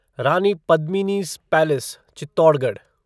Rani Padmini's palace Chittorgarh